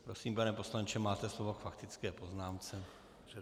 Prosím, pane poslanče, máte slovo k faktické poznámce.